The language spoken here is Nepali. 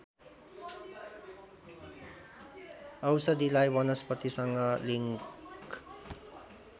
औषधिलाई वनस्पतिसँग लिङ्क